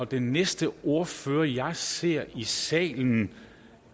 den næste ordfører jeg ser i salen